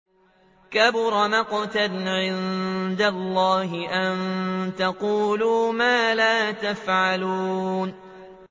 كَبُرَ مَقْتًا عِندَ اللَّهِ أَن تَقُولُوا مَا لَا تَفْعَلُونَ